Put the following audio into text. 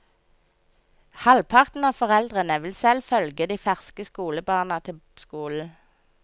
Halvparten av foreldrene vil selv følge de ferske skolebarna til skolen.